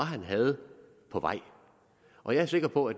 på vej og jeg er sikker på